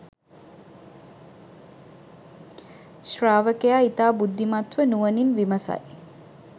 ශ්‍රාවකයා ඉතා බුද්ධිමත්ව නුවණින් විමසයි